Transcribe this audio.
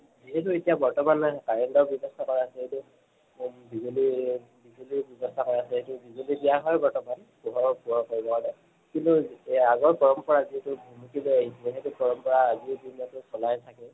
যিহেতু এতিয়া বৰ্তমান current ৰ ব্যবস্থা ক ৰা আছে এইটো উম বিজুলি বিজুলিৰ ব্যবস্থা কৰা আছে বিজুলি দিয়া হয় বৰ্তমান পোহৰৰ পোহৰ কৰিব হলে। কিন্তু এ আগৰ পৰম্পৰা যিহেতু ভুমুকি আহিছিলে সেইটো পৰম্পৰা আজিৰ দিনটো চলাই থাকে।